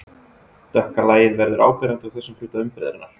Dökka lagið verður áberandi á þessum hluta umferðarinnar.